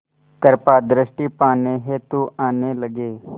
कृपा दृष्टि पाने हेतु आने लगे